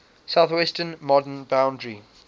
southwestern modern boundary